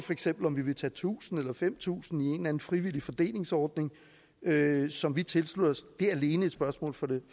om vi vil tage tusind eller fem tusind i en eller anden frivillig fordelingsordning som vi tilslutter os er alene et spørgsmål for det